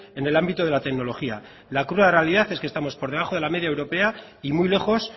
en el ámbito de la tecnología la cruda realidad es que estamos por debajo de la media europea y muy lejos